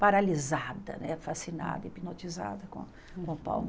paralisada né, fascinada, hipnotizada com com o palco.